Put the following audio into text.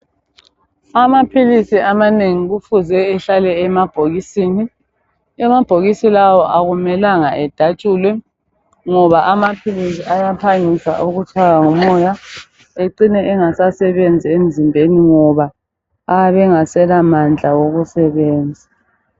amaphilisi amanengi kufuze ehlale emabhokisini amabhokisi lawa akumelanga edatshulwe ngoba amaphilisi ayaphangisa ukutshaywa ngumoya ecine engasasebenzi emzimbeni ngoba ayabe engasela mandla wokusebenza